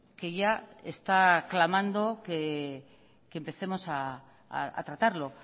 que ya está clamando que empecemos a tratarlo